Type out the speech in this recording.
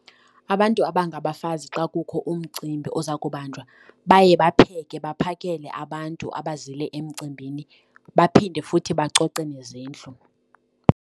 Abantu abangabafazi xa kukho umcimbi oza kubanjwa baye bapheke baphakele abantu abazile emcimbini baphinde futhi bacoce nezindlu.